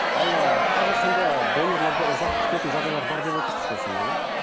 ал ы қазір сонда донорларды ұзақ күтетін жағдайлар бар деп отырсыз ғой сонда иә